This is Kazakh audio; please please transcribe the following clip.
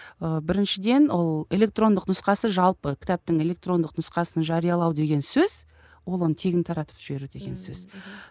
ы біріншіден ол электрондық нұсқасы жалпы кітаптың электрондық нұсқасын жариялау деген сөз ол оны тегін таратып жіберу деген сөз мхм